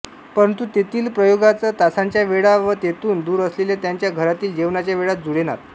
परंतु तेथील प्रयोगाच तासांच्या वेळा व तेथून दूर असलेल्या त्यांच्या घरातील जेवणाच्या वेळा जुळेनात